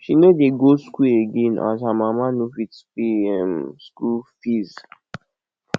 she no dey go skool again as her mama no fit pay um skool fees